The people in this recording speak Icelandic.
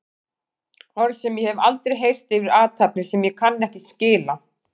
Orð sem ég hef aldrei heyrt yfir athafnir sem ég kann ekki skil á.